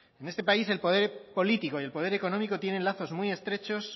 en este país el poder político y el poder económico tienen lazos muy estrechos